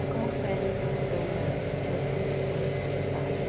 E como que foi a recepção das, das professoras que já estavam?